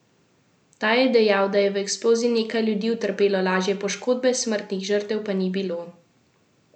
Ta je dejal, da je v eksploziji nekaj ljudi utrpelo lažje poškodbe, smrtnih žrtev pa ni bilo.